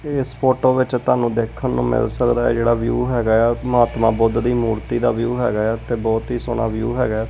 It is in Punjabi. ਇਸ ਫੋਟੋ ਵਿੱਚ ਤੁਹਾਨੂੰ ਦੇਖਣ ਨੂੰ ਮਿਲ ਸਕਦਾ ਜਿਹੜਾ ਵਿਊ ਹੈਗਾ ਆ ਮਹਾਤਮਾ ਬੁੱਧ ਦੀ ਮੂਰਤੀ ਦਾ ਵਿਊ ਹੈਗਾ ਆ ਤੇ ਬਹੁਤ ਹੀ ਸੋਹਣਾ ਵਿਊ ਹੈਗਾ।